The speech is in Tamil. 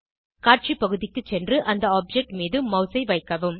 காட்சி பகுதிக்கு சென்று அந்த ஆப்ஜெக்ட் மீது மாஸ் ஐ வைக்கவும்